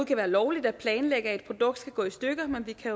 kan være lovligt at planlægge at et produkt skal gå i stykker men vi kan